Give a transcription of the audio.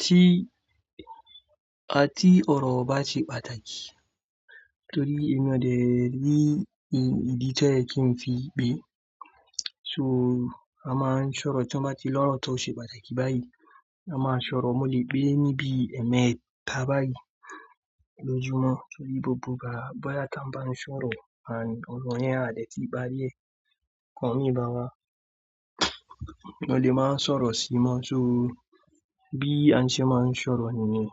tí, tí ọ̀rọ̀ o bá ṣe pàtàkì torí inú ọ̀dẹ̀ ni ìdí tí ó yẹ kí n fi gbé. So a máa ń sọ̀rọ̀ tí wọ́n bá ti lọ́rọ̀ tó ṣe pàtàkì báyìí, a máa sọ̀rọ̀ mo lè pe níbi ẹ̀ẹ̀mẹta báyìí lójumo torí gbogbo ìgbà bóyá tí wọ́n bá ń sọ̀rọ̀, ànd ọ̀rọ̀ yẹn a dẹ̀ ti parí ẹ̀, ikan mi ìbáwa, mo lè máa ń sọ̀rọ̀ sí i mọ́. So bí a ṣe máa ń sọ̀rọ̀ nìyẹn.